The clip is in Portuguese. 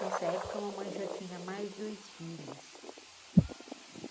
Nessa época, mamãe já tinha mais dois filhos.